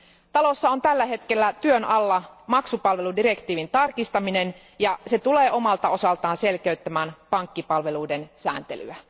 Parlamentissa on tällä hetkellä työn alla maksupalveludirektiivin tarkistaminen ja se tulee omalta osaltaan selkeyttämään pankkipalveluiden sääntelyä.